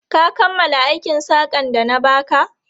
Ka kammala aikin saƙan da na ba ka?